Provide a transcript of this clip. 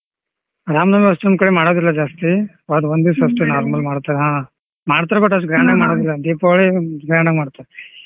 ರಾಮ್ ನವಮಿ ಅಸ್ಟೊಂದ್ ಕಡೆ ಮಾಡದಿಲ್ಲ ಜಾಸ್ತಿ ಅದು ಒಂದೇ normal ಮಾಡ್ತರಾ ಹಾ ಮಾಡ್ತರೆ but ಅಸ್ಟ್ grand ಆಗಿ ಮಾಡೋದಿಲ್ಲ ದೀಪಾವಳಿ grand ಆಗಿ ಮಾಡ್ತಾರೆ.